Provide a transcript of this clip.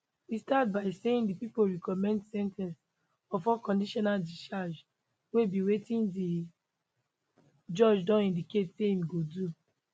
e start by saying di pipo recommend sen ten ce of unconditional discharge wey be wetin di judge don indicate say im go do